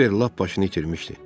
Kibver lap başını itirmişdi.